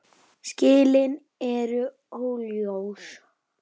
Skilin eru óljós.